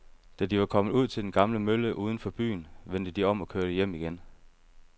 Da de var kommet ud til den gamle mølle uden for byen, vendte de om og kørte hjem igen.